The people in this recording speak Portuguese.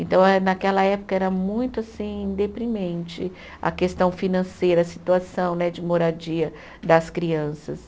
Então eh, naquela época, era muito, assim, deprimente a questão financeira, a situação né de moradia das crianças.